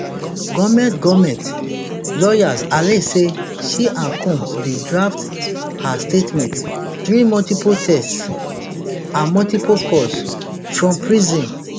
goment goment lawyers alledge say she and combs bin draft her statement during multiple texts and multiple calls from prison